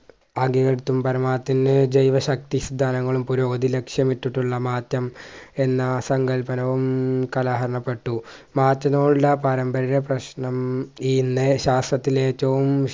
ജൈവ ശക്തി സിദ്ധാനങ്ങളും പുരോഗതി ലക്ഷ്യമിട്ടിട്ടുള്ള മാറ്റം എന്ന സങ്കൽപനവും കാലഹരണപ്പെട്ടു പാരമ്പര്യ പ്രശ്‌നം ഇനെ ശാസ്ത്രത്തിലെ ഏറ്റവും